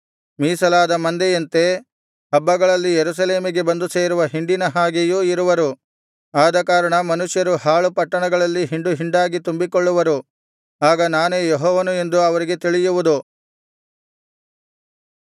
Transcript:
ಮೀಸಲಾದ ಮಂದೆಯಂತೆ ಹಬ್ಬಗಳಲ್ಲಿ ಯೆರೂಸಲೇಮಿಗೆ ಬಂದು ಸೇರುವ ಹಿಂಡಿನ ಹಾಗೆಯೂ ಇರುವರು ಆದಕಾರಣ ಮನುಷ್ಯರು ಹಾಳು ಪಟ್ಟಣಗಳಲ್ಲಿ ಹಿಂಡುಹಿಂಡಾಗಿ ತುಂಬಿಕೊಳ್ಳುವರು ಆಗ ನಾನೇ ಯೆಹೋವನು ಎಂದು ಅವರಿಗೆ ತಿಳಿಯುವುದು